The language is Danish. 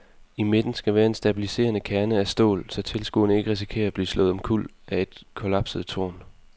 I midten skal være en stabiliserende kerne af stål, så tilskuere ikke risikerer at blive slået omkuld af et kollapset tårn.